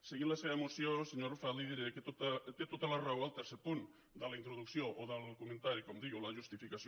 seguint la seva moció senyor arrufat li diré que té tota la raó en el tercer punt de la introducció o del comentari com diu o de la justificació